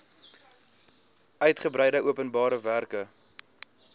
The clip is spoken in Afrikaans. uigebreide openbare werke